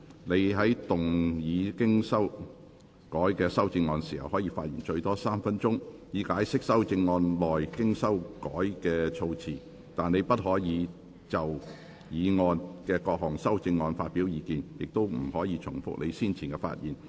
你在動議經修改的修正案時，可發言最多3分鐘，以解釋修正案內經修改過的措辭，但你不可再就議案及各項修正案發表意見，亦不可重複你先前的發言。